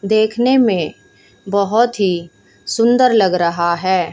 देखने में बहुत ही सुंदर लग रहा है।